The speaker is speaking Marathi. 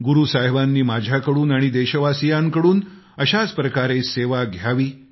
गुरू साहिबांनी माझ्याकडून आणि देशवासियांकडून अशाच प्रकारे सेवा घ्यावी